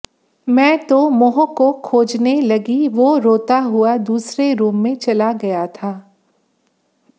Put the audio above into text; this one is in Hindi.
मैं तो मोह को खोजने लगी वो रोता हुआ दूसरे रूम में चला गया था